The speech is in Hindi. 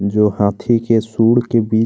जो हाथी के सूंढ़ के बीच --